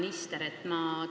Hea minister!